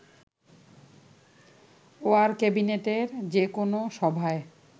war ক্যাবিনেটের যেকোনো সভায়